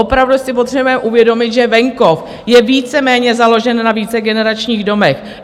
Opravdu si potřebujeme uvědomit, že venkov je víceméně založen na vícegeneračních domech.